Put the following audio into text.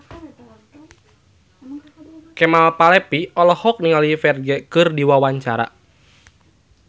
Kemal Palevi olohok ningali Ferdge keur diwawancara